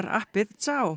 appið